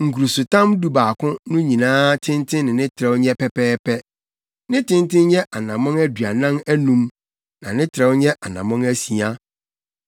Nkurusotam dubaako no nyinaa tenten ne ne trɛw nyɛ pɛpɛɛpɛ. Ne tenten nyɛ anammɔn aduanan anum na ne trɛw nyɛ anammɔn asia.